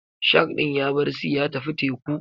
Shark ɗin yabar sea ya tafi teku.